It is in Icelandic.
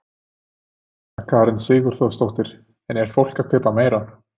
Sunna Karen Sigurþórsdóttir: En er fólk að kaupa meira?